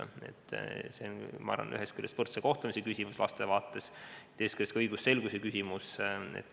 Ma arvan, et see on ühest küljest laste võrdse kohtlemise küsimus ja teisest küljest ka õigusselguse küsimus.